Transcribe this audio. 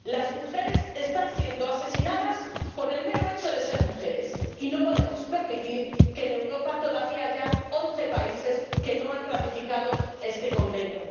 Las mujeres están siendo asesinadas por el mero hecho de ser mujeres, y no podemos permitir que en Europa todavía haya once países que no han ratificado este Convenio.